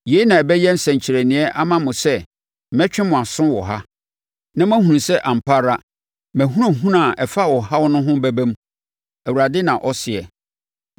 “ ‘Yei na ɛbɛyɛ nsɛnkyerɛnneɛ ama mo sɛ mɛtwe mo aso wɔ ha, na mo ahunu sɛ ampa ara mʼahunahuna a ɛfa ɔhaw ho no bɛba mu,’ Awurade na ɔseɛ.